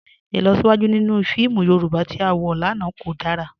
Ilọsiwaju ninu fíìmù Yorùbá tí a wọ lánà kò dára.